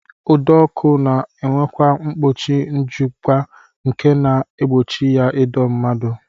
Ụdọọkụ na-enwekwa mkpuchi njụga nke na-egbochi ya ịdọ ndị mmadụ